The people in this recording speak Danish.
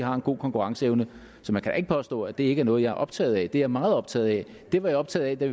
har en god konkurrenceevne så man kan da ikke påstå at det ikke er noget jeg er optaget af det er jeg meget optaget af det var jeg optaget af